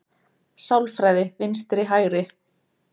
Sálfræði vinstri-hægri